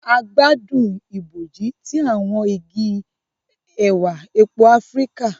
A gbádùn ibojì ti awọn igi ẹwà èpo Áfíríkà.